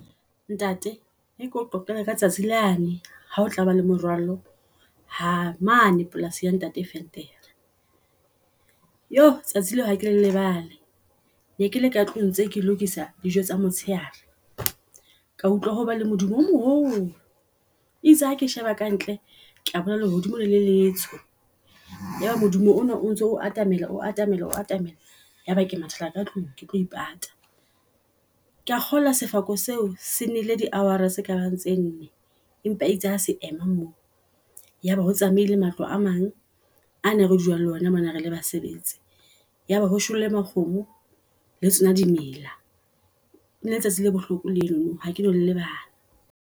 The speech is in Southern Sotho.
Ntate ere keo qoqele ka letsatsi lane ha o tlaba le moralo ha mane polasing ya ntate Venter. Yoh! tsatsi leo, hake lebale. Ne kele ka tlung ntse ke lokisa dijo tsa motshehare. Ka utlwa ho ba le modumo o moholo, itse hake sheba kantle ka bona lehodimo le letsoho. Yaba modumo ona o ntso o atamele, o atamele o atamela ya ba ke mathata katlung ketlo ipata. Kea kgolwa sefako seo, senile di hour-ra tse kabang tse nne. Empa eitse ha se ema mo yaba, ho tsamaile matlo a mang a ne re dula ho ona mona re le basebetsi. Yaba ho shwele makgomo le tsona dimela, eneleletsatsi le bohloko leno ha keno le lebala.